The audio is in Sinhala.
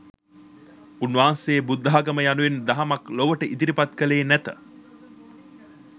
උන්වහන්සේ බුද්ධාගම යනුවෙන් දහමක් ලොවට ඉදිරිපත්කළේ නැත